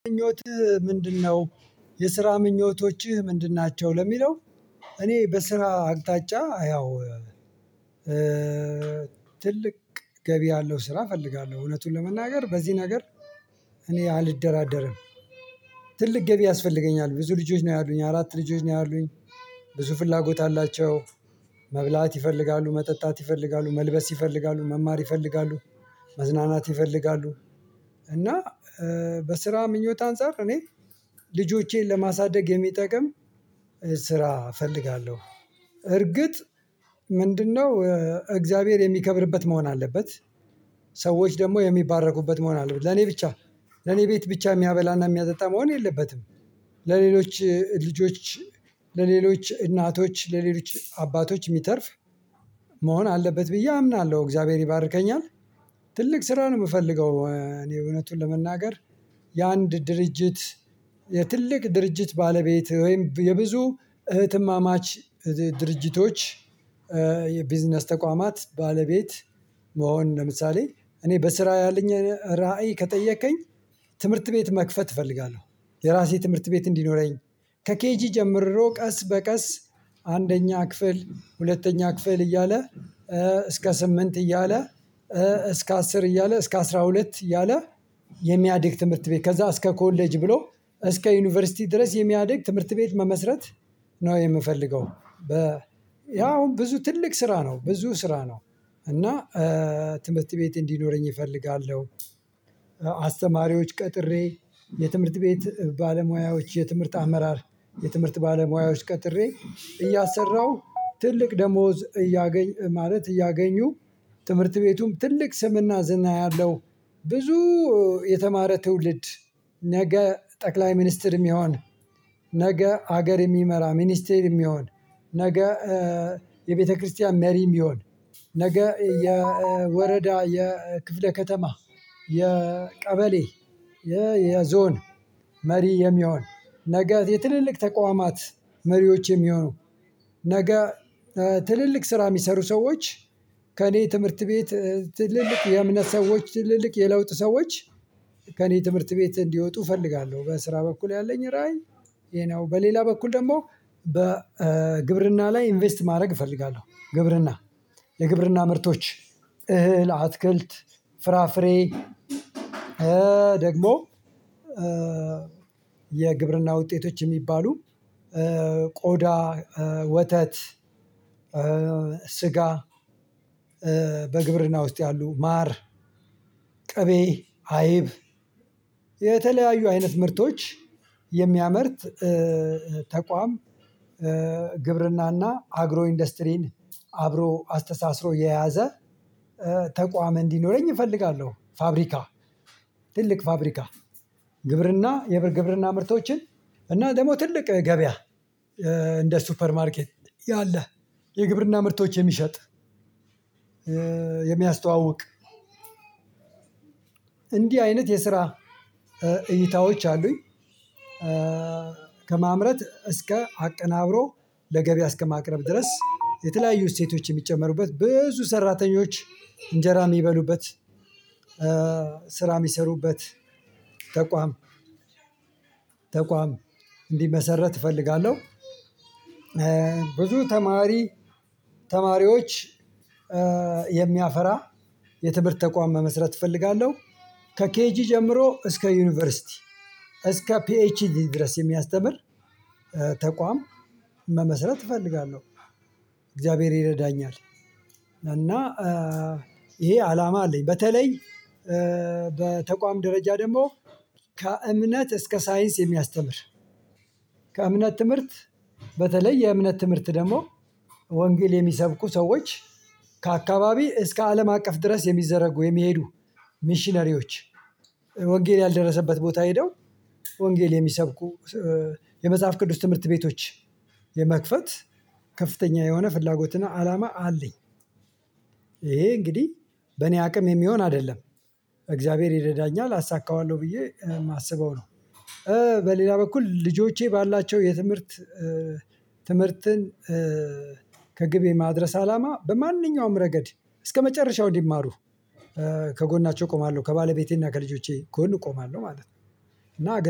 ምኞትህ ምንድነው? የስራ ምኞቶችህ ምንድን ናቸው ለሚለው። እኔ በስራ አቅጣጫ ያው ትልቅ ገቢ ያለው ስራ እፈልጋለሁ እውነቱን ለመናገር በዚህ ነገር እኔ አልደራደርም። ትልቅ ገቢ ያስፈልገኛል ብዙ ልጆች ነው ያሉኝ አራት ልጆች ነው ያሉኝ። ብዙ ፍላጎት አላቸው። መብላት ይፈልጋሉ መጠጣት ይፈልጋሉ መልበስ ይፈልጋሉ መማር ይፈልጋሉ መዝናናት ይፈልጋሉ። እና በስራ ምኞት አንፃር እኔ ልጆቼን ለማሳደግ የሚጠቅም ስራ እፈልጋለሁ። እርግጥ ምንድነው እግዚአብሔር የሚከብርበት መሆን አለበት። ሰዎች ደግሞ የሚባረኩበት መሆን አለበት ለኔ ብቻ ለኔ ቤት ብቻ የሚያበላና የሚያጠጣ መሆን የለበትም። ለሌሎች ልጆች ለሌሎች እናቶች ለሌሎች አባቶች የሚተርፍ መሆን አለበት ብዬ አምናለሁ። እግዚአብሔር ይባርከኛል ትልቅ ስራ ነው የምፈልገው። እኔ እውነቱን ለመናገር የአንድ ድርጅት የትልቅ ድርጅት ባለቤት ወይም የብዙ እህትማማች ድርጅቶች። የቢዝነስ ተቋማት ባለቤት መሆን ለምሳሌ እኔ በስራ ያለኝ ራዕይ ከጠየከኝ ትምህርት ቤት መክፈት እፈልጋለሁ። የራሴ ትምህርት ቤት እንዲኖረኝ ከኬጂ ጀምሮ ቀስ በቀስ አንደኛ ክፍል ሁለተኛ ክፍል እያለ እስከ ስምንት እያለ እስከ አስር እያለ እስከ አስራ ሁለት እያለ የሚያድግ ትምህርት ቤት ከዛ እስከ ኮሌጅ ብሎ እስከ ዩኒቨርሲቲ ድረስ የሚያድግ ትምህርት ቤት መመስረት ነው የምፈልገው። ያው አሁን ብዙ ትልቅ ስራ ነው ብዙ ስራ ነው። እና ትምህርት ቤት እንዲኖረኝ እፈልጋለሁ። አስተማሪዎች ቀጥሬ የትምህርት ቤት ባለሙያዎች የትምህርት አመራር የትምህርት ባለሙያዎች ቀጥሬ እያሰራሁ ትልቅ ደሞዝ እያገኝ ማለት እያገኙ ትምህርት ቤቱም ትልቅ ስምና ዝና ያለው። ብዙ የተማረ ትውልድ ነገ ጠቅላይ ሚኒስትር የሚሆን ነገ ሀገር የሚመራ ሚኒስትር የሚሆን ነገ የቤተክርስቲያን መሪ የሚሆን ነገ የወረዳ የክፍለ ከተማ የቀበሌ የዞን መሪ የሚሆን ነገ የትልልቅ ተቋማት መሪዎች የሚሆኑ ነገ ትልልቅ ስራ የሚሰሩ ሰዎች። ከእኔ ትምህርት ቤት ትልልቅ የእምነት ሰዎች ትልልቅ የለውጥ ሰዎች ከእኔ ትምህርት ቤት እንዲወጡ እፈልጋለሁ በስራ በኩል ያለኝ ራዕይ። ይሄ ነው በሌላ በኩል ደግሞ በግብርና ላይ ኢንቨስት ማድረግ እፈልጋለሁ። ግብርና የግብርና ምርቶች እህል አትክልት ፍራፍሬ ደግሞ የግብርና ውጤቶች የሚባሉ ቆዳ ወተት ስጋ በግብርና ውስጥ ያሉ ማር ቅቤ አይብ የተለያዩ አይነት ምርቶች የሚያመርት ተቋም ግብርና እና አግሮ ኢንዱስትሪን አብሮ አስተሳስሮ የያዘ ተቋም እንዲኖረኝ እፈልጋለሁ። ፋብሪካ ትልቅ ፋብሪካ ግብርና ግብርና ምርቶችን እና ደግሞ ትልቅ ገበያ እንደ ሱፐር ማርኬት ያለህ የግብርና ምርቶች የሚሸጥ የሚያስተዋውቅ እንዲህ አይነት የስራ እይታዎች አሉኝ። ከማምረት እስከ አቀናብሮ ለገበያ እስከማቅረብ ድረስ የተለያዩ እሴቶች የሚጨመሩበት ብዙ ሰራተኞች እንጀራ የሚበሉበት ስራ የሚሰሩበት ተቋም ተቋም እንዲመሰረት እፈልጋለሁ። ብዙ ተማሪ ተማሪዎች የሚያፈራ የትምህርት ተቋም መመስረት እፈልጋለሁ። ከኬጂ ጀምሮ እስከ ዩኒቨርሲቲ እስከ ፒኤችዲ ድረስ የሚያስተምር ተቋም መመስረት እፈልጋለሁ። እግዚአብሔር ይረዳኛል። እና ይሄ አላማ አለኝ በተለይ በተቋም ደረጃ ደግሞ ከእምነት እስከ ሳይንስ የሚያስተምር ከእምነት ትምህርት በተለይ የእምነት ትምህርት ደግሞ ወንጌል የሚሰብኩ ሰዎች ከአካባቢ እስከ አለም አቀፍ ድረስ የሚዘረጉ የሚሄዱ ሚሽነሪዎች ወንጌል ያልደረሰበት ቦታ ሄደው ወንጌል የሚሰብኩ የመጽሐፍ ቅዱስ ትምህርት ቤቶች የመክፈት ከፍተኛ የሆነ ፍላጎትና አላማ አለኝ። ይሄ እንግዲህ በእኔ አቅም የሚሆን አይደለም እግዚአብሔር ይረዳኛል አሳካዋለሁ ብዬ የማስበው ነው። በሌላ በኩል ልጆቼ ባላቸው የትምህርት ትምህርትን ከግብ የማድረስ አላማ በማንኛውም ረገድ እስከመጨረሻው እንዲማሩ ከጎናቸው እቆማለሁ ከባለቤቴና ከልጆቼ ጎን እቆማለሁ ማለት ነው። እና